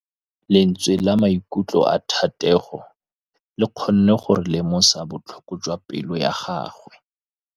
Lentswe la maikutlo a Thategô le kgonne gore re lemosa botlhoko jwa pelô ya gagwe.